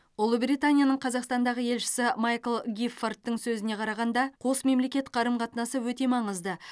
ұлыбританияның қазақстандағы елшісі майкл гиффордың сөзіне қарағанда қос мемлекет қарым қатынасы өте маңызды